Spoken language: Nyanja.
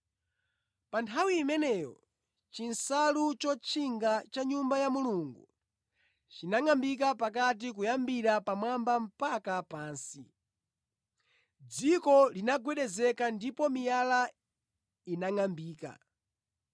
Pa nthawi imeneyo chinsalu chotchinga cha mʼNyumba ya Mulungu chinangʼambika pakati kuyambira pamwamba mpaka pansi. Dziko linagwedezeka ndipo miyala inangʼambika.